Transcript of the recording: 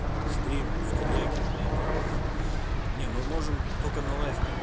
стрим в телеге блять ха-ха не ну можем только на лайф канал